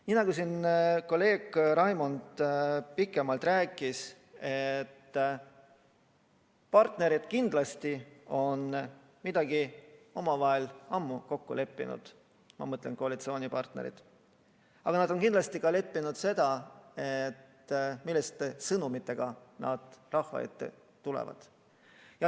Nii nagu kolleeg Raimond enne pikemalt rääkis, on partnerid kindlasti midagi omavahel ammu kokku leppinud, ma mõtlen koalitsioonipartnereid, ja nad on kindlasti kokku leppinud ka selle, milliste sõnumitega nad rahva ette tulevad.